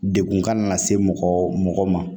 Dekun ka na se mɔgɔ ma